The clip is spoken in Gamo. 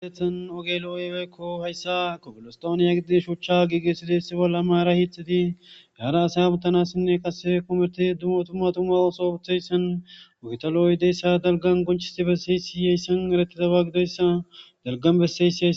Maaghtha miizazi dalga keeththapoe kare kd'ashe dizaysa xeellashshe daysiko. Haysi maaththiza mizazi mathtas goobako.